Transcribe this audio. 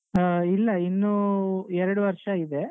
ಹಾ ಇಲ್ಲ ಇನ್ನೂ ಎರಡು ವರ್ಷ ಇದೆ.